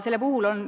See on oluline.